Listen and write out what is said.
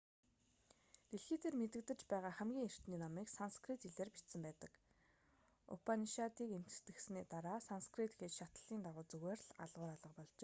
дэлхий дээр мэдэгдэж байгаа хамгийн эртний номыг санскрит хэлээр бичсэн байдаг упанишадыг эмхэтгэсний дараа санскрит хэл шатлалын дагуу зүгээр л алгуур алга болжээ